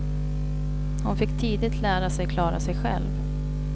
Hon fick tidigt lära sig klara sig själv.